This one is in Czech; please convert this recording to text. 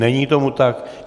Není tomu tak.